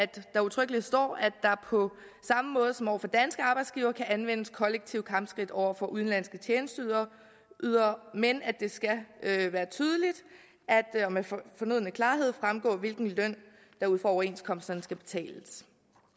der udtrykkeligt står at der på samme måde som over for danske arbejdsgivere kan anvendes kollektive kampskridt over for udenlandske tjenesteydere men at det skal være tydeligt og med fornøden klarhed fremgå hvilken løn der ud fra overenskomsterne skal betales